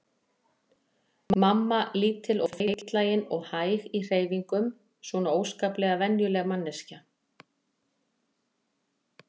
Mamma lítil og feitlagin og hæg í hreyfingum, svona óskaplega venjuleg manneskja.